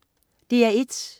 DR1: